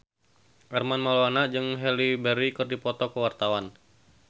Armand Maulana jeung Halle Berry keur dipoto ku wartawan